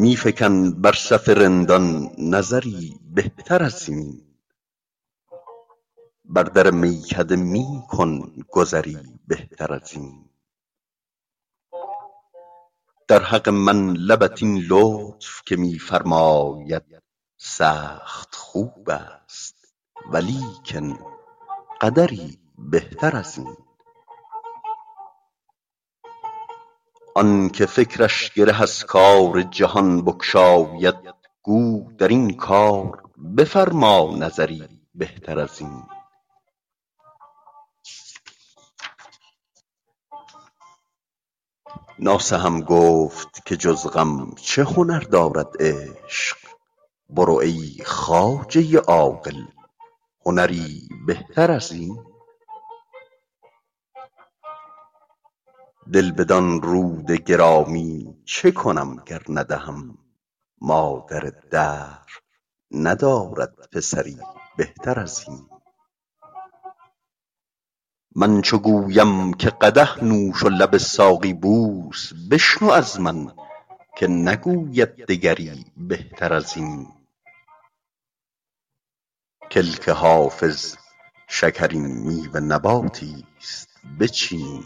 می فکن بر صف رندان نظری بهتر از این بر در میکده می کن گذری بهتر از این در حق من لبت این لطف که می فرماید سخت خوب است ولیکن قدری بهتر از این آن که فکرش گره از کار جهان بگشاید گو در این کار بفرما نظری بهتر از این ناصحم گفت که جز غم چه هنر دارد عشق برو ای خواجه عاقل هنری بهتر از این دل بدان رود گرامی چه کنم گر ندهم مادر دهر ندارد پسری بهتر از این من چو گویم که قدح نوش و لب ساقی بوس بشنو از من که نگوید دگری بهتر از این کلک حافظ شکرین میوه نباتی ست بچین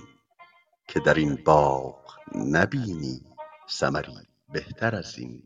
که در این باغ نبینی ثمری بهتر از این